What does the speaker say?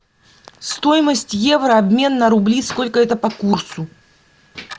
стоимость евро обмен на рубли сколько это по курсу